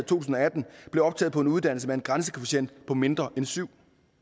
tusind og atten blev optaget på en uddannelse med en grænsekvotient på mindre end syvende